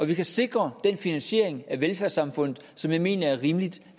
vi kan sikre den finansiering af velfærdssamfundet som jeg mener er rimelig